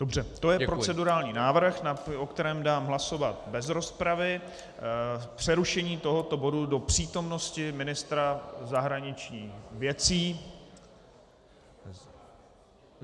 Dobře, to je procedurální návrh, o kterém dám hlasovat bez rozpravy: přerušení tohoto bodu do přítomnosti ministra zahraničních věcí.